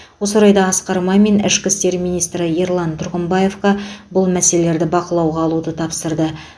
осы орайда асқар мамин ішкі істер министрі ерлан тұрғымбаевқа бұл мәселелерді бақылауға алуды тапсырды